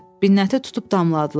Binnəti tutub damladılar.